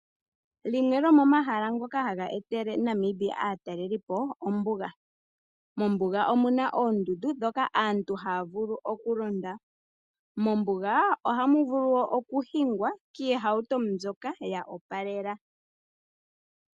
Limwe lyomomahala ngoka ha ga etele Namibia aatalelipo, ombuga. Mombuga omu na oondundu ndhoka aantu ha ya vulu oku londa. Mombuga ohamu vulu okuhingwa kiihauto mbyoka ya opalela.